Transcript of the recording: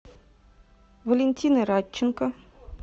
валентины радченко